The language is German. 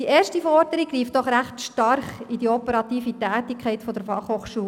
Die erste Forderung greift doch recht stark in die operative Tätigkeit der FH ein.